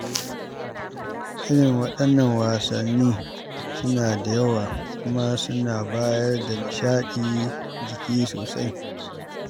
Irin waɗannan wasanni suna da yawa, kuma suna bayar da nishaɗin jiki sosai.